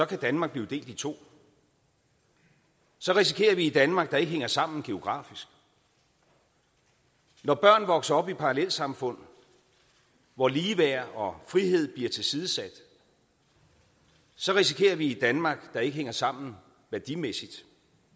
kan danmark blive delt i to og så risikerer vi et danmark der ikke hænger sammen geografisk når børn vokser op i parallelsamfund hvor ligeværd og frihed bliver tilsidesat så risikerer vi et danmark der ikke hænger sammen værdimæssigt